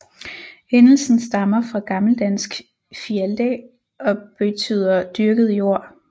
Endelsen stammer fra gammeldansk Fialdæ og beytder dyrket jord